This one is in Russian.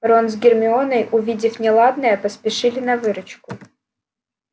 рон с гермионой увидев неладное поспешили на выручку